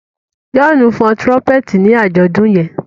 Johnu fọn trumpeti ni ajọdun yen